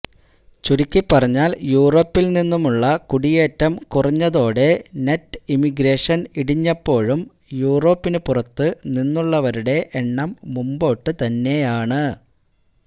ചുരുക്കിപ്പറഞ്ഞാൽ യൂറോപ്പിൽ നിന്നുമുള്ള കുടിയേറ്റം കുറഞ്ഞതോടെ നെറ്റ് ഇമിഗ്രേഷൻ ഇടിഞ്ഞപ്പോഴും യൂറോപ്പിന് പുറത്ത് നിന്നുള്ളവരുടെ എണ്ണം മുമ്പോട്ട് തന്നെയാണ്